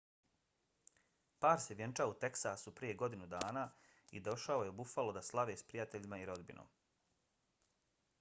par se vjenčao u teksasu prije godinu dana i došao je u buffalo da slave s prijateljima i rodbinom